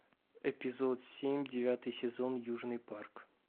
эпизод семь девятый сезон южный парк